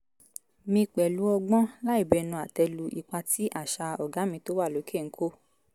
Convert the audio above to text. mi pẹ̀lú ọgbọ́n láìbẹnu àtẹ́ lu ipa tí àṣà "ọ̀gá mi tó wà lókè" ń kó